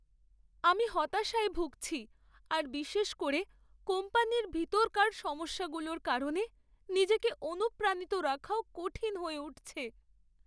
আমি হতাশায় ভুগছি আর বিশেষ করে কোম্পানির ভেতরকার সমস্যাগুলোর কারণে নিজেকে অনুপ্রাণিত রাখাও কঠিন হয়ে উঠছে।